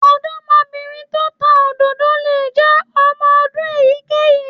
Ọ̀dọ́mọbìnrin tó ń ta òdòdó lè jẹ́ ọmọ ọdún èyíkéyìí